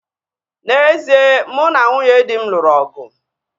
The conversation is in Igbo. N'ezie, mụ na nwunye dị m lụrụ ọgụ